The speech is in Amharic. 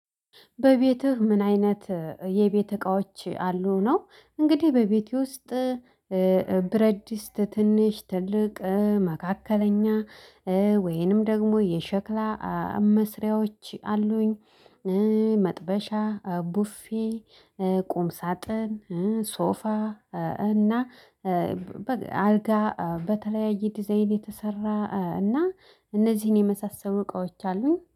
በቤትህ ምን? አይነት የቤት እቃዎች አሉ ነው እንግዲህ በቤቴ ውስጥ ብረት ድስት ትንሽ ትልቅ መካከለኛ ወይንም ደግሞ የሸክላ መስሪያዎች አሉኝ። መጥበሻ ቡፌ ቁም ሳጥን ሶፋ እና አልጋ በተለያየ ዲዛይን የተሰራ እና እነዚህን የመሳሰሉ እቃዎች አሉኝ